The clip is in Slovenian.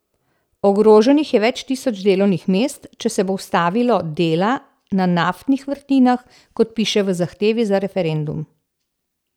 Ogroženih je več tisoč delovnih mest, če se bo ustavilo dela na naftnih vrtinah, kot piše v zahtevi za referendum.